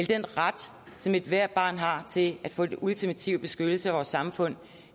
den ret som ethvert barn har til at få den ultimative beskyttelse af vores samfund